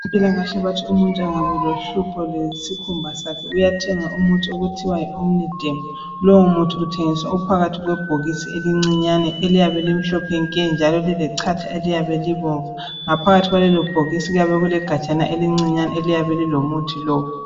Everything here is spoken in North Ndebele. Abezempilakahle bathi umuntu engaba lohlupho lwesikhumba sakhe uyathenga umuthi okuthiwa yiomniderm. Lowomuthi uthengiswa uphakathi kwebhokisi elincinyane eliyabe limhlophe nke njalo lilechatha eliyabe libomvu. Ngaphakathi kwalelo bhokisi kuyabe kulegajana elincinyane eliyabe lilomuthi lowu.